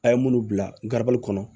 A' ye minnu bila garabali kɔnɔ